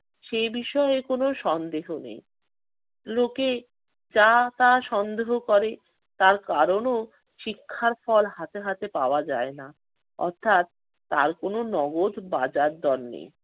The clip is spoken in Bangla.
সে বিষয়ে কোনো সন্দেহ নেই। লোকে যা তা সন্দেহ করে। তার কারণও শিক্ষার ফল হাতে হাতে পাওয়া যায় না। অর্থাৎ তার কোনো নগদ বাজার দর নেই।